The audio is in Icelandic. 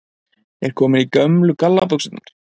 Er komin í gömlu gallabuxurnar